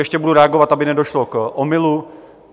Ještě budu reagovat, aby nedošlo k omylu.